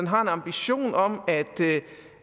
har en ambition om